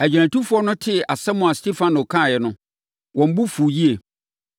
Agyinatufoɔ no tee asɛm a Stefano kaeɛ no, wɔn bo fuu yie.